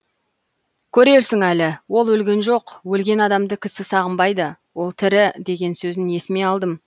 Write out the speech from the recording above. көрерсің әлі ол өлген жоқ өлген адамды кісі сағынбайды ол тірі деген сөзін есіме алдым